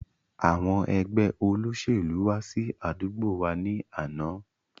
Àwọn Ẹgbẹ́ olóṣèlú wá sí àdúgbò wá ní àná